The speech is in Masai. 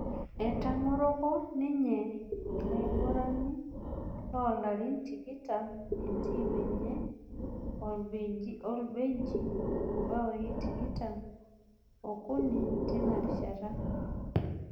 Etang'oroko ninye ilo aigurani loo larin tikitam entim enye orbelgiji imbaoi tikitam okuni tena rishata